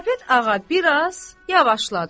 Qarapet ağa bir az yavaşladı.